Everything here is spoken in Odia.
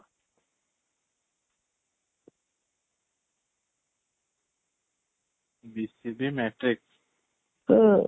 BGC matrix, ହୁଁ